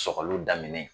Sɔgɔli daminɛ